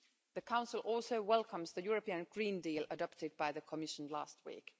The Council also welcomes the European Green Deal adopted by the Commission last week.